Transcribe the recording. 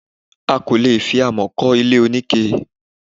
A kò lè fi amọ̀ kọ́ ilé oníke